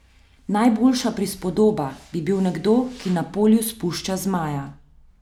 Najboljša prispodoba bi bil nekdo, ki na polju spušča zmaja.